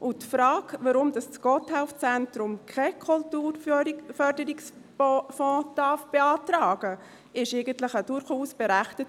Die Frage, warum das Gotthelf-Zentrum keinen Kulturförderungsbeitrag beantragen darf, ist durchaus berechtigt.